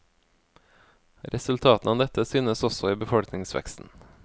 Resultatene av dette synes også i befolkningsveksten.